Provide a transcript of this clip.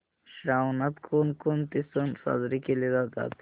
श्रावणात कोणकोणते सण साजरे केले जातात